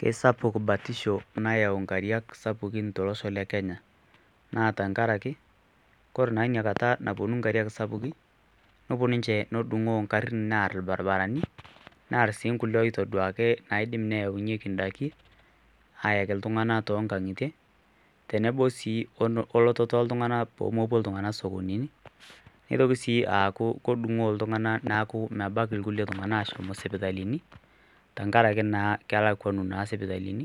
Kesapuk batisho nayau nkariak sapukin tolosho le Kenya naa tangaraki ore inakata naponu nkariak sapukin neponu nche nedungoo ngarin aar irbaribarani ongulie oitoduakini oidim neyaunyeki ngarin ayaki ltunganak tonkangitie neponu ltunganak, neitoki sii aku kedungoo ltunganak pemepuo sipitalini amu kelakuanu naa sipitalini,